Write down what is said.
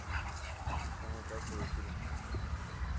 самый кассовый фильм